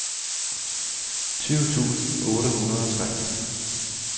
tyve tusind otte hundrede og tre